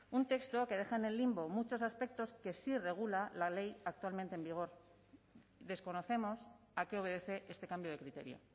un texto que deja en el limbo muchos aspectos que sí regula la ley actualmente en vigor desconocemos a qué obedece este cambio de criterio